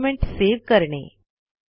document save करणे